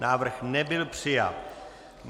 Návrh nebyl přijat.